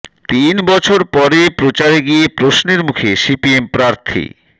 তিন বছর পরে প্রচারে গিয়ে প্রশ্নের মুখে সিপিএম প্রার্থী